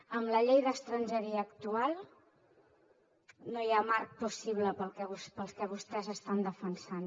amb la llei d’estrangeria actual no hi ha marc possible per al que vostès estan defensant